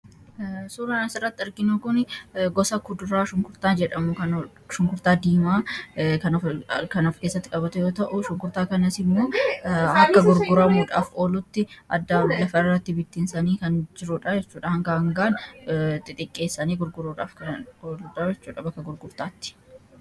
Suuraan as irratti arginu kun, gosa kuduraa shunkurtaa jedhamudha. Shunkurtaa diimaa kan of keessatti qabate yoo ta'u ,shunkurtaa kanas immoo akka gurguramuudhaaf oolutti addaan lafa irratti bittinsanii kan jirudha jechuudha, gargar xixiqqeessanii gurguruudhaaf.